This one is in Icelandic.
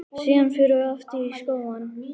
Síðan förum við aftur í skóna.